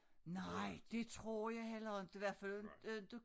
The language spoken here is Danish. Nej det tror jeg heller inte hvert fald inte